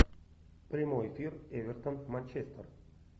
прямой эфир эвертон манчестер